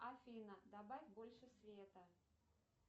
афина добавь больше света